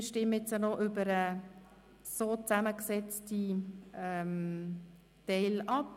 Wir stimmen über den gesamten Artikel ab.